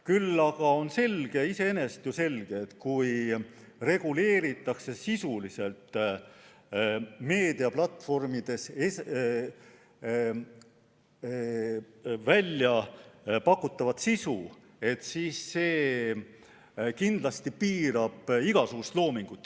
Küll aga on ju iseenesest selge, et kui reguleeritakse sisuliselt meediaplatvormidel pakutavat sisu, siis see kindlasti piirab igasugust loomingut.